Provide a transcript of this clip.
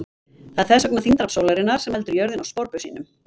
Það er þess vegna þyngdarafl sólarinnar sem heldur jörðinni á sporbaug sínum!